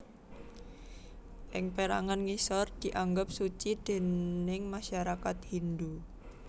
Ing pérangan ngisor dianggep suci déning masyarakat Hindhu